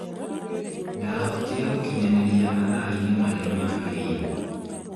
Ndahotire gũkinyanĩria matha-inĩ marĩa magĩrĩirwo